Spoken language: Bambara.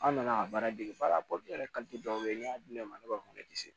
An nana ka baara dege baara la dɔw bɛ ye n'i y'a di ne ma ne b'a fɔ ne tɛ se